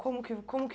Como que como que